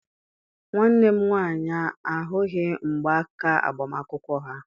Nwanne m nwaanyị ahụghị mgba aka agbamakwụkwọ ha.